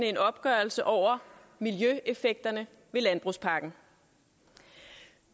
en opgørelse over miljøeffekterne af landbrugspakken